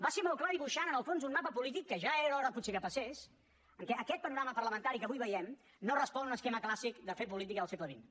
va ser molt clar dibuixant en el fons un mapa polític que ja era hora potser que passés en què aquest panorama parlamentari que avui veiem no respon a un esquema clàssic de fer política del segle xx